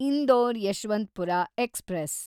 Indore Yeshwantpur express